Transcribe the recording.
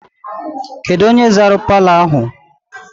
Kedụ onye zara palọ ahụ?